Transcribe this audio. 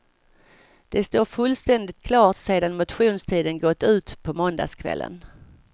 Det står fullständigt klart sedan motionstiden gått ut på måndagskvällen.